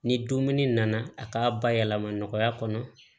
Ni dumuni nana a k'a bayɛlɛma nɔgɔya kɔnɔ